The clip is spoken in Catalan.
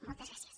moltes gràcies